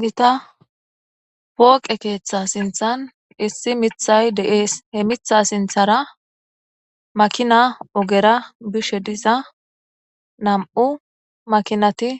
Gita pooqe keeththa sinthan issi mithay de7ees. He mitha sinthara makina ogera bishe diza nam7u makinati